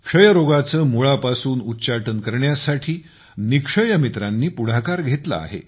क्षयरोगाचे मुळापासून उच्चाटन करण्यासाठी निक्षय मित्रांनी पुढाकार घेतला आहे